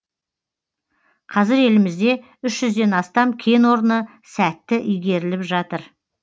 қазір елімізде үш жүзден астам кен орны сәтті игеріліп жатыр